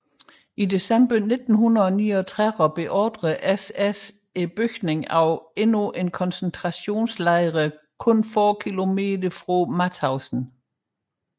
I december 1939 beordrede SS bygningen af endnu en koncentrationslejr nogle få km fra Mauthausen